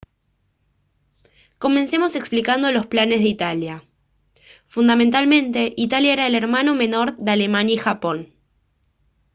comencemos explicando los planes de italia. fundamentalmente italia era el «hermano menor» de alemania y japón